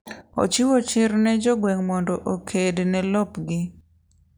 Ochiwo chir ne jo gweng' mondo oked ne lopgi